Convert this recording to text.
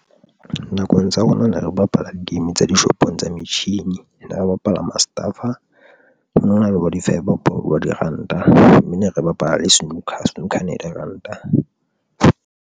Nakong tsa rona ne re bapala di-game tsa dishopong tsa metjhini, ne re bapala Mustafa o no na bo di-five bop bo diranta mme ne re bapala le snooker. Snooker e ne le ranta.